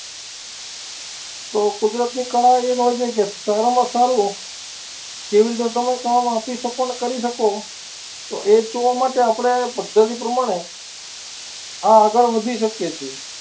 તો કુદરતની કળાએ રોજે કે સારામાં સારું જેવી રીતે તમે કામ આપી શકો ને કરી શકો, એ જોવા માટે આપણે પદ્ધતિ પ્રમાણે આગળ વધી શકીએ છીએ.